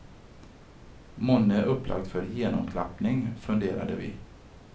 Månne upplagt för genomklappning, funderade vi.